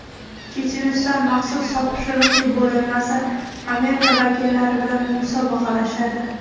Checheniston maxsus topshiriqli bo‘linmasi Amerika vakillari bilan musobaqalashadi.